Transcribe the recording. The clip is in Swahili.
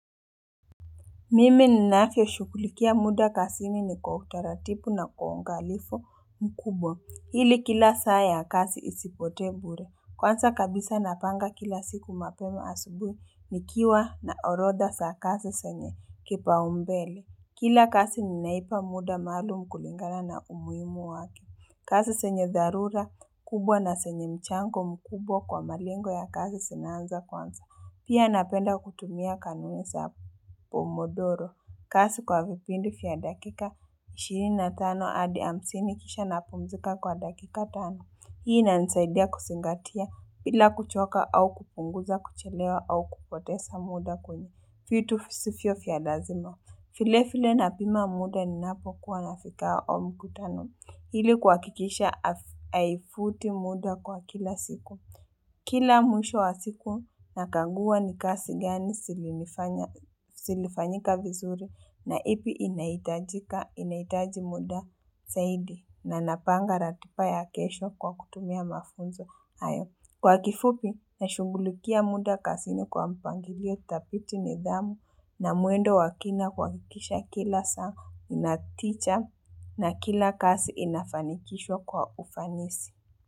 Mimi ninavyo shughulikia muda kazini ni kwautaratibu na kwa uangalifu mkubwa. Ili kila saa ya kazi isipote bure. Kwanza kabisa napanga kila siku mapema asubuhi nikiwa na orodha za kazi zenye kipa umbele. Kila kasi ninaipa muda maalum kulingana na umuhimu wake. Kazi zenye dharura kubwa na zenye mchango mkubwa kwa malengo ya kazi zinaanza kwanza. Pia napenda kutumia kanuniza pomodoro. Kazi kwa vipindi vya dakika 25 adi hamsini kisha napumzika kwa dakika 5. Hii inanisaidia kuzingatia bila kuchoka au kupunguza kuchelewa au kupoteza muda kwenye. Vitu visivyo vya lazima. Vile vile napima muda ninapo kuwa nafika kwa mkutano. Ili kuhakikisha haifuti muda kwa kila siku. Kila mwisho wa siku nakaguwa ni kazi gani zilifanyika vizuri na ipi inaitajika, inaitaji muda zaidi na napanga ratiba ya kesho kwa kutumia mafunzo hayo. Kwa kifupi, nashungulikia muda kazini kwa mpangilio dhabiti, nidhamu na mwendo wa kina kuhakikisha kila saa inatija na kila kazi inafanikishwa kwa ufanisi.